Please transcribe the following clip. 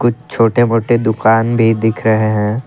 कुछ छोटे मोटे दुकान भी दिख रहे हैं।